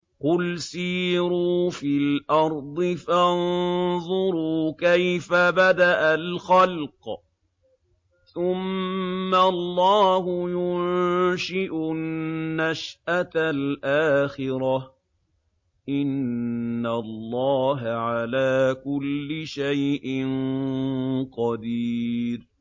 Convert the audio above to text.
قُلْ سِيرُوا فِي الْأَرْضِ فَانظُرُوا كَيْفَ بَدَأَ الْخَلْقَ ۚ ثُمَّ اللَّهُ يُنشِئُ النَّشْأَةَ الْآخِرَةَ ۚ إِنَّ اللَّهَ عَلَىٰ كُلِّ شَيْءٍ قَدِيرٌ